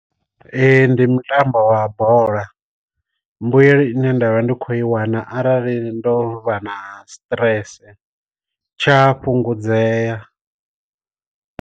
Ee ndi mutambo wa bola mbuyelo ine nda vha ndi khou i wana arali ndo vha na stress tsha fhungudzea.